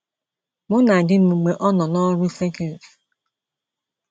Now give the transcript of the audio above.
Mụ na di m mgbe ọ nọ n’ọrụ circuit